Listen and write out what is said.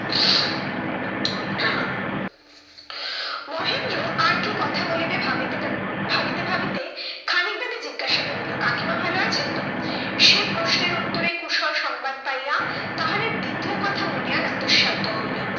মহেন্দ্র আর কি কথা বলিবে ভাবিতে ভাবিতে ভাবিতে খানিকবাদে জিজ্ঞাসা করিল, কাকিমা ভালো আছেন তো? সে প্রশ্নের উত্তরে কুশল সংবাদ পাইয়া, তাহার আর দ্বিতীয় কথা মনে আনা দুঃসাধ্য হইলো।